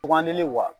Bugan dili la